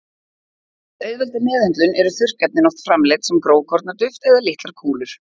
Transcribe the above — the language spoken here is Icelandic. Til að auðvelda meðhöndlun eru þurrkefnin oft framleidd sem grófkorna duft eða litlar kúlur.